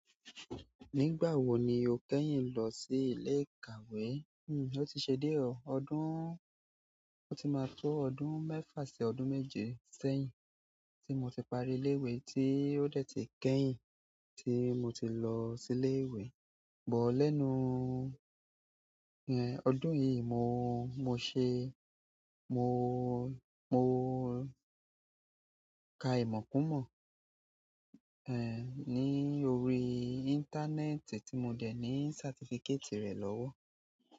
Nígbà wo ni o kẹ́yìn lọ sí ilé ìkàwé? Hmm, ó ti ṣe diẹ ọ̀ ọdún, ó ti máa tó ọdún mẹ́fà sí ọdún méje sẹ́yìn tí mo ti parí ilé ìwé tí ó dẹ̀ ti kẹ́yìn tí mo ti lọ sílé ìwé, gbọ́ lẹ́nú. Ẹ, ọdún yìí mo, mo ṣe, mo, mo ka ìmọ̀ kún mọ̀, ẹ, ní orí íńtánẹ́ẹ̀tì tí mo dẹ̀ ní certificate rẹ̀ lọ́wọ́.